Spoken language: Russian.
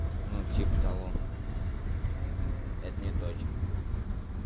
ну типа того ну это неточно